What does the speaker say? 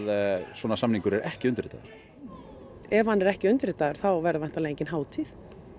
svona samningu r er ekki undirritaður ef hann er ekki undirritaður þá verður væntanlega engin hátíð